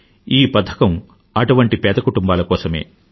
ఈ పథకం అటువంటి పేదకుటుంబాల కోసమే